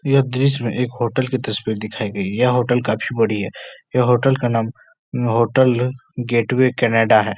यह दृश्य में एक होटल की तस्वीर दिखाई गई है। यह होटल काफी बड़ी है। यह होटल का नाम होटल गेटवे कैनाडा है।